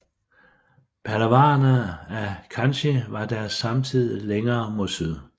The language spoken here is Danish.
Pallavaerne af Kanchi var deres samtidige længere mod syd